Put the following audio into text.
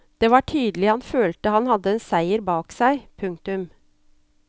Det var tydelig han følte han hadde en seier bak seg. punktum